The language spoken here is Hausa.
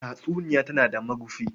Tatsuniya tana da marufi.